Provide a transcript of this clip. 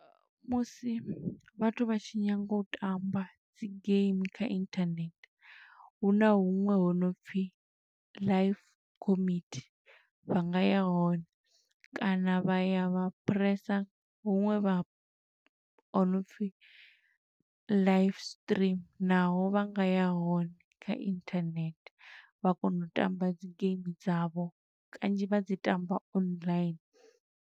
Musi vhathu vha tshi nyanga u tamba dzi game kha inthanethe, huna huṅwe ho no pfi Life Committee, vha nga ya hone. Kana vha ya vha phuresa huṅwe vha ho no pfi live stream naho vha nga ya hone kha inthanethe, vha kona u tamba dzi game dza vho, kanzhi vha dzi tamba online.